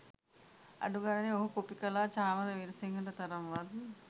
අඩු ගනනේ ඔහු කොපි කල චාමර වීරසිංහට තරම් වත්